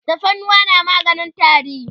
tafarnuwa na maganin tari